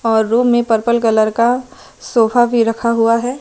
और रूम में purple colour का सोफा भी रखा हुआ है।